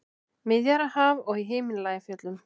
Miðjarðarhaf og í Himalajafjöllum.